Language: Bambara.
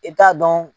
I t'a dɔn